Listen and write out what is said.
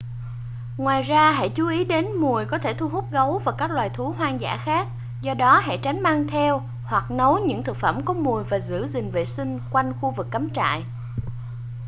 ngoài ra hãy chú ý đến mùi có thể thu hút gấu và các loài thú hoang dã khác do đó hãy tránh mang theo hoặc nấu những thực phẩm có mùi và giữ gìn vệ sinh quanh khu vực cắm trại